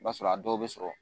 I b'a sɔrɔ a dɔw bɛ sɔrɔ